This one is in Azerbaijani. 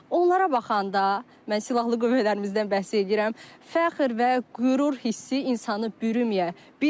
Onlara baxanda, mən silahlı qüvvələrimizdən bəhs eləyirəm, fəxr və qürur hissi insanı bürüməyə bilməz.